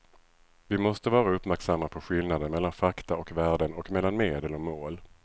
Vi måste vara uppmärksamma på skillnaden mellan fakta och värden och mellan medel och mål.